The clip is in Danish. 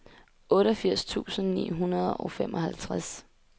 otteogfirs tusind ni hundrede og femoghalvtreds